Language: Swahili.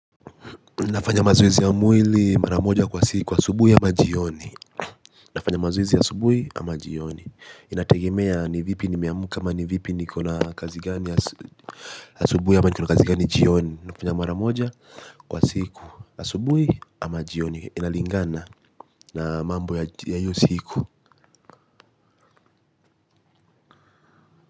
Nafanya mazoezi ya mwili mara moja kwa siku, asubuhi ama jioni. Nafanya mazoezi asubuhi ama jioni. Inategemea ni vipi nimeamka ama ni vipi niko na kazi gani asubuhi ama niko na kazi gani jioni. Ninafanya mara moja kwa siku, asubuhi ama jioni. Inalingana na mambo ya hiyo siku.